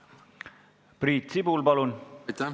Priit Sibul, palun!